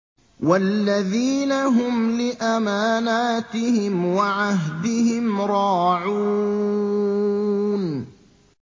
وَالَّذِينَ هُمْ لِأَمَانَاتِهِمْ وَعَهْدِهِمْ رَاعُونَ